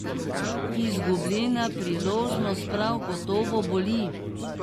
Izgubljena priložnost prav gotovo boli.